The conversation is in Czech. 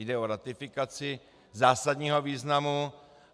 Jde o ratifikaci zásadního významu.